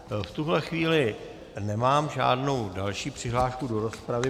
V tuto chvíli nemám žádnou další přihlášku do rozpravy.